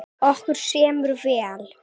Okkur semur vel